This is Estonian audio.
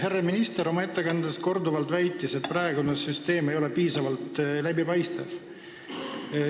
Härra minister väitis oma ettekandes korduvalt, et praegune süsteem ei ole piisavalt läbipaistev.